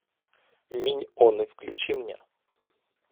миньоны включи мне